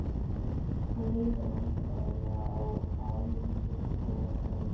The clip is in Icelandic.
Hann leit vandræðalega á Álf og sagði